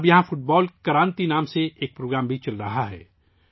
اب یہاں football Kranti کے نام سے ایک پروگرام بھی چل رہا ہے